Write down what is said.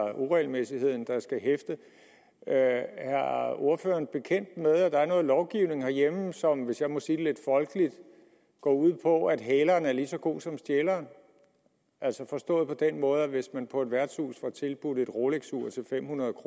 uregelmæssigheden der skal hæfte er ordføreren bekendt med at der er noget lovgivning herhjemme som hvis jeg må sige det lidt folkeligt går ud på at hæleren er lige så god som stjæleren altså forstået på den måde at hvis man på et værtshus får tilbudt et rolexur til fem hundrede